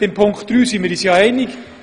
Bei Punkt 3 sind wir uns ja einig: